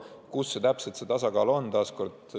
Kus täpselt see tasakaal on?